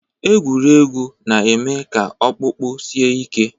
Egwuregwu na-eme ka ọkpụkpụ sie ike